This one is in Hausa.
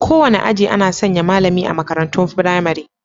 Kowane aji ana sanya malami a makarantun firamare.